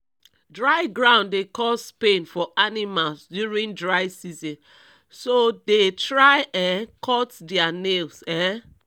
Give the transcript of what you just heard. dry ground dey cause pain for animals during dry season so dey try um cut thier nails um